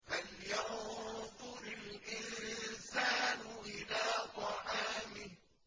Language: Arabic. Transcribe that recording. فَلْيَنظُرِ الْإِنسَانُ إِلَىٰ طَعَامِهِ